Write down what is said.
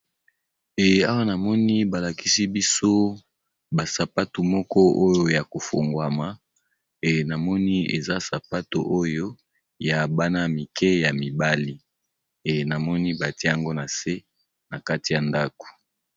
Eh awa namoni balakisi biso basapatu moko oyo ya kofungwama e namoni eza sapatu oyo ya bana mike ya mibali e namoni batia yango na se na kati ya ndako.